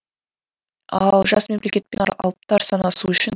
ал жас мемлекетпен алыптар санасуы үшіні